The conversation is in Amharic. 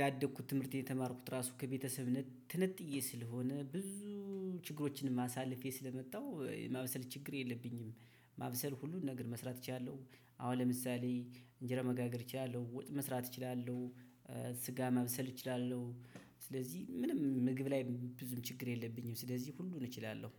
ያደግኩት ትምህርት የተማርኩት ራሱ ከቤተሰብ ትነጥዬ ስለሆነ ብዙ ችግሮችንም አሳለፌ ስለመጣሁ የማብሰል ችግር የለብኝም። ማብሰል ሁሉን ነገር መስራት እችላለሁ አሁን ለምሳሌ እንጀራ መጋገር እችላለሁ ወጥ መስራት እችላለሁ። ስጋ መብሰል እችላለሁ ስለዚህ ምንም ምግብ ላይ ብዙም ችግር የለብኝም። ስለዚህ ሁሉን እችላለሁ።